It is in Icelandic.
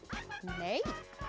nei